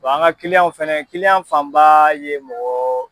an ka fana fanba ye mɔgɔ.